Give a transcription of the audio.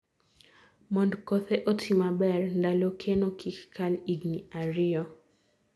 mond kothe oti maber, ndalo keno kik kal igni ariyo